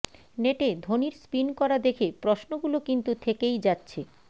নেটে ধোনির স্পিন করা দেখে প্রশ্নগুলো কিন্তু থেকেই যাচ্ছে